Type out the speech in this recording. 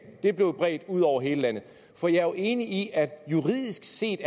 blev bredt ud over hele landet for jeg er jo enig i at der juridisk set